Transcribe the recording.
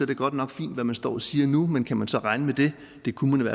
det godt nok fint hvad man står og siger nu men kan vi så regne med det det kunne